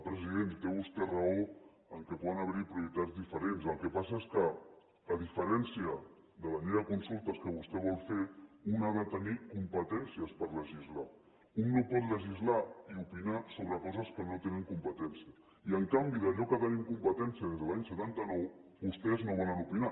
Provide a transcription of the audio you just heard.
president té vostè raó que poden haver hi prioritats diferents el que passa és que a diferència de la llei de consultes que vostè vol fer un ha de tenir competències per legislar un no pot legislar i opinar sobre coses sobre les quals no té competència i en canvi d’allò que tenim competència des de l’any setanta nou vostès no volen opinar